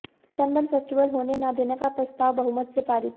sunburn festival होने न देने का प्रस्ताव बहुमत से पारित